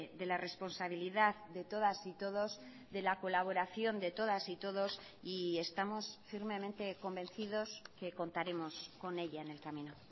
de la responsabilidad de todas y todos de la colaboración de todas y todos y estamos firmemente convencidos que contaremos con ella en el camino